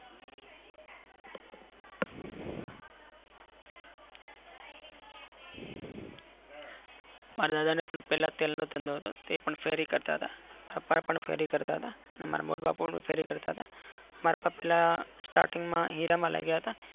માર દાદા ને પણ પેલા તેલ નો ધંધો હતો તે ફેરી કરતા હતા. પપ્પા ફેરી કરતા હતા. અને મારા મોટાબાપા પણ ફેરી કરતા હતા. મારા પપ્પા પેલા starting માં હીરા માં લાગેલા હતા.